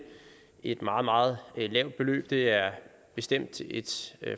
et meget meget lavt beløb det er bestemt et